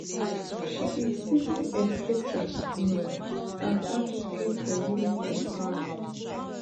she be seasoned educator um and advocate for women empowerment